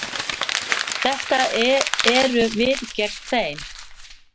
Þetta eru við gegn þeim.